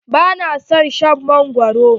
Ba na son shan mangwaro.